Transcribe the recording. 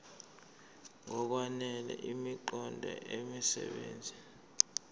ngokwanele imiqondo nemisebenzi